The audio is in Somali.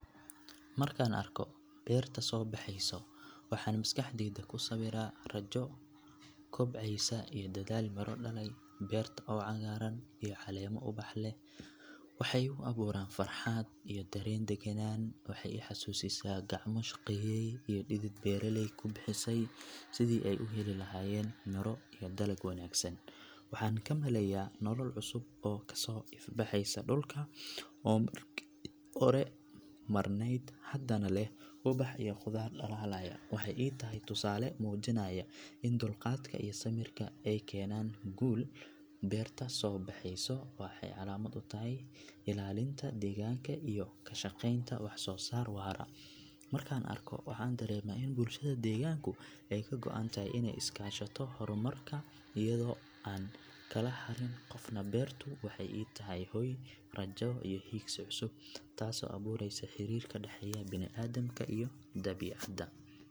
Markaan arko beerta soo baxaysoo waxaan maskaxdayda ku sawiraa rajo kobcaysa iyo dadaal miro dhalay beerta oo cagaaran iyo caleemo ubax leh waxay igu abuuraan farxad iyo dareen deggenaan waxay i xasuusisaa gacmo shaqeeyay iyo dhidid beeraley ku bixisay sidii ay u heli lahaayeen miro iyo dalag wanaagsan waxaan ka maleeyaa nolol cusub oo ka soo ifbaxaysa dhulka oo markii hore madhnayd haddana leh ubax iyo khudaar dhalaalaya waxay ii tahay tusaale muujinaya in dulqaadka iyo samirka ay keenaan guul beerta soo baxaysoo waxay calaamad u tahay koritaan iyo barwaaqo waxayna i tusisaa sida ay muhiim u tahay ilaalinta deegaanka iyo ka shaqeynta wax soo saar waara markaan arko waxaan dareemaa in bulshada deegaanku ay ka go’antahay inay iska kaashato horumarka iyadoo aan kala harin qofna beertu waxay ii tahay hoy rajo iyo hiigsi cusub taasoo abuuraysa xiriir ka dhaxeeya bini'aadamka iyo dabiicadda.